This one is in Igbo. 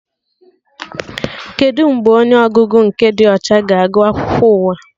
Kedụ mgbe onye ọgụgụ nke dị ọcha ga-agụ akụkọ ụwa?